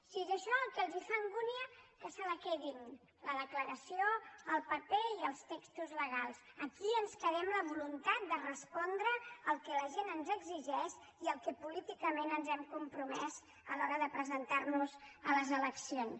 si és això el que els fa angúnia que se la quedin la declaració el paper i els textos legals aquí ens quedem la voluntat de respondre al que la gent ens exigeix i a allò a què políticament ens hem compromès a l’hora de presentar nos a les eleccions